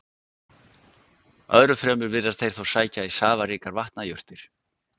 Öðru fremur virðast þeir þó sækja í safaríkur vatnajurtir.